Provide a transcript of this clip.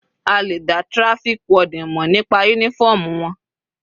A lè dá traffic warden mọ̀ nípa uniform wọn.